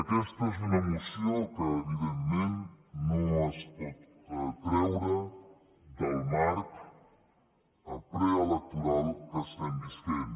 aquesta és una moció que evidentment no es pot treure del marc preelectoral que estem vivint